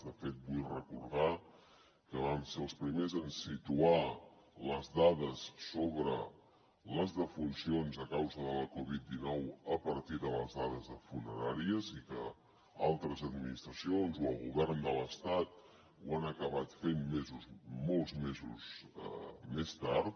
de fet vull recordar que vam ser els primers en situar les dades sobre les defuncions a causa de la covid dinou a partir de les dades de funeràries i que altres administracions o el govern de l’estat ho han acabat fent molts mesos més tard